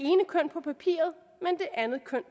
andet køn